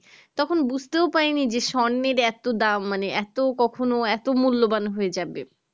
তখন বুঝাতে ও পাইনি যে স্বর্ণের এত দাম মানে এত কখনো এত মূল্যবান হয়ে যাবে